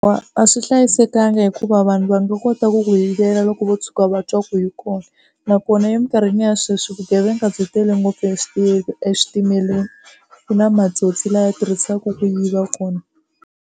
A a swi hlayisekanga hikuva vanhu va nga kota ku ku yivela loko vo tshuka va twa ku yi kona nakona emikarhini ya sweswi vugevenga byi tele ngopfu eswitimeleni ku na matsotsi lama tirhisaku ku yiva kona.